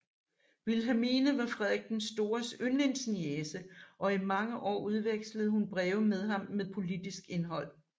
Wilhelmine var Frederik den Stores yndlingsniece og i mange år udvekslede hun breve med ham med politisk indhold